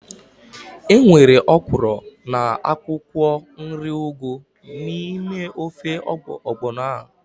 Enwere ọkwụrụ na akwụkwọ nri ugu n'ime ofe ọgbọnọ ahu